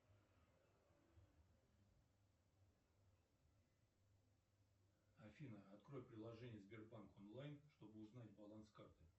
афина открой приложение сбербанк онлайн чтобы узнать баланс карты